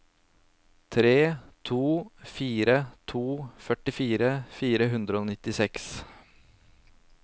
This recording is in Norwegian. tre to fire to førtifire fire hundre og nittiseks